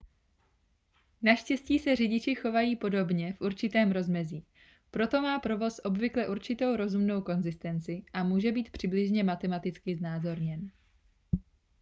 naštěstí se řidiči chovají podobně v určitém rozmezí proto má provoz obvykle určitou rozumnou konzistenci a může být přibližně matematicky znázorněn